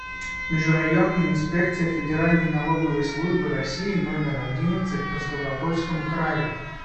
межрайонная инспекция федеральной налоговой службы россии номер одиннадцать по ставропольскому краю